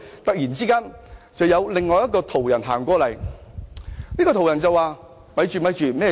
突然，有一位途人經過，他說："且慢，發生了甚麼事？